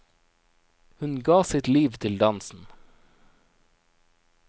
Hun ga sitt liv til dansen.